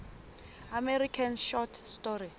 american short story